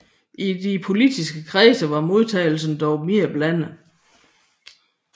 I de politiske kredse var modtagelsen dog mere blandet